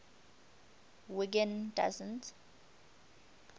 wiggin doesn t